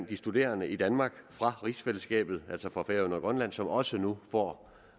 de studerende i danmark fra rigsfællesskabet altså fra færøerne og grønland som også nu får